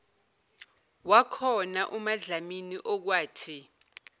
wakhona umadlamini okwathi